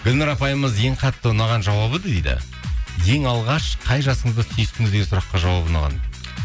гүлнұр апайымыз ең қатты ұнаған жауабы дейді ең алғаш қай жасыңызда сүйістіңіз деген сұраққа жауабы ұнаған